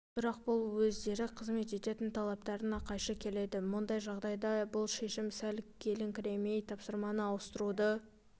бірақ бұл өздері қызмет ететін талаптарына қайшы келеді мұндай жағдайда бұл шешім сәл келіңкіремейді тапсырма ауыстыруды